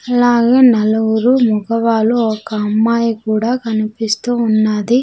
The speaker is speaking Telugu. అలాగే నలుగురు మగవాళ్ళు ఒక అమ్మాయి కూడా కనిపిస్తూ ఉన్నది.